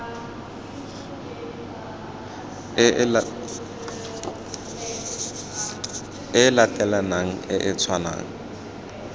e latelanang e e tshwanang